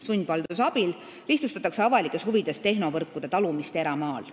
Sundvalduse abil lihtsustatakse avalikes huvides tehnovõrkude talumist eramaal.